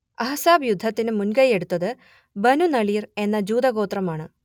അഹ്സാബ് യുദ്ധത്തിന് മുൻകൈയ്യെടുത്തത് ബനുനളീർ എന്ന ജൂതഗോത്രമാണ്